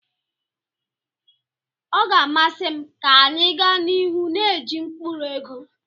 Ọ ga-amasị m ka anyị gaa n'ihu na-eji mkpụrụ ego.